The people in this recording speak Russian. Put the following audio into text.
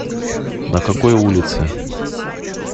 на какой улице